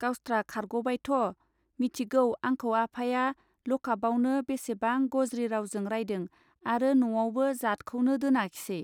गावस्त्रा खारगबायथ! मिथिगौ आंखौ आफाया लकाफआवनो बेसेबां गज्रि रावजों रायदों आरो न'आवबो' जातखौनो दोनाखिसै.